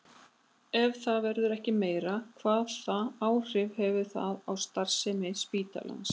Ef það verður ekki meira, hvaða áhrif hefur það á starfsemi spítalans?